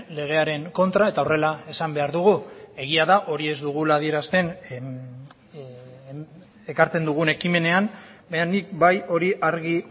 legearen kontra eta horrela esan behar dugu egia da hori ez dugula adierazten ekartzen dugun ekimenean baina nik bai hori argi